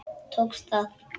Tókst það.